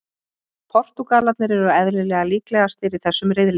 Portúgalarnir eru eðlilega líklegastir í þessum riðli.